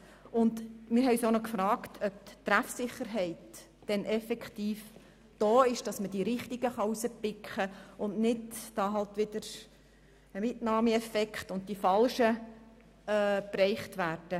Wir haben uns noch gefragt, ob die Treffsicherheit effektiv vorhanden ist, sodass die richtigen Leute herausgepickt werden, damit es nicht zu einem Mitnahmeeffekt kommt und die Falschen getroffen werden.